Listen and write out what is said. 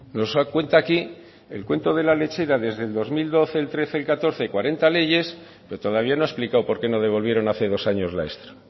nos cuenta aquí el cuento de la lechera desde el dos mil doce dos mil trece dos mil catorce cuarenta leyes pero todavía no ha explicado por qué no devolvieron hace dos años la extra